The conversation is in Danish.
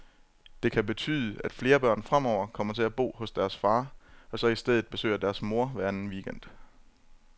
Det kan betyde, at flere børn fremover kommer til at bo hos deres far, og så i stedet besøger deres mor hver anden weekend.